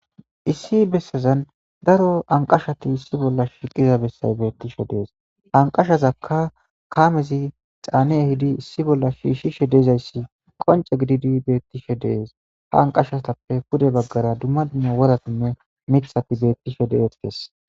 issi bessazan daro anqashati issi bolla shiiqiza bessay beettishe dees anqashazakka kaamezi xaane hidi issi bolla shiishshishe deezayssi qonce gididi beettishe dees ha anqashatappe pude baggara dumma dumma woratinne mithati beettishe de7et kees